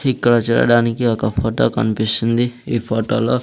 ఇక్కడ చేరడానికి ఒక ఫొటో కన్పిస్తుంది ఈ ఫోటోలో --